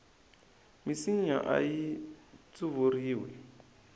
minsinya ayi tsuvuriwi